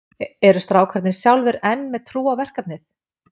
Eru strákarnir sjálfir enn með trú á verkefnið?